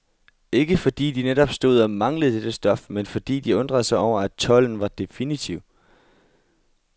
Ikke fordi de netop stod og manglede dette stof, men fordi de undrede sig over, at tolden var definitiv.